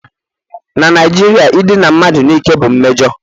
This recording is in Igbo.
Na Naijiria idina mmadụ n'ike bụ mmejọ